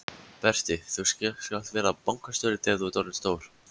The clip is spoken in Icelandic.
Berti þú skalt verða bankastjóri þegar þú ert orðinn stór!